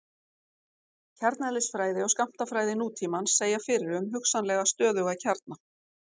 kjarneðlisfræði og skammtafræði nútímans segja fyrir um hugsanlega stöðuga kjarna